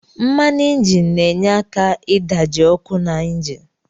Mmanu injin na enye aka idaji okụ na injin.